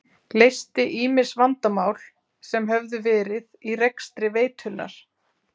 Leysti ýmis vandamál sem höfðu verið í rekstri veitunnar.